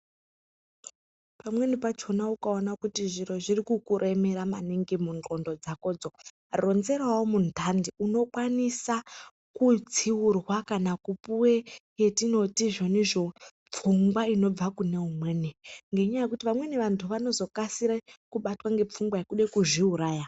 Pamwen pachona ukaona kuti zviro zvirikukuremera maningi mundxondo dzakodzo ronzerawo muntandi unokwanisa kutsiurwa kana kupuwe yatinoti izvonizvo pfungwa inobva kune umweni ngenyaya yekuti vamweni vantu vanozokasire kubatwa ngepfungwa yekude kuzviuraya.